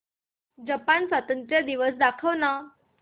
Japan स्वातंत्र्य दिवस दाखव ना